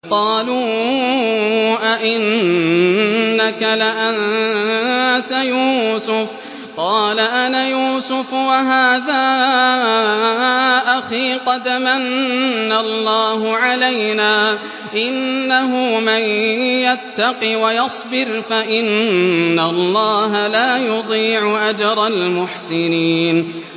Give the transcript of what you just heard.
قَالُوا أَإِنَّكَ لَأَنتَ يُوسُفُ ۖ قَالَ أَنَا يُوسُفُ وَهَٰذَا أَخِي ۖ قَدْ مَنَّ اللَّهُ عَلَيْنَا ۖ إِنَّهُ مَن يَتَّقِ وَيَصْبِرْ فَإِنَّ اللَّهَ لَا يُضِيعُ أَجْرَ الْمُحْسِنِينَ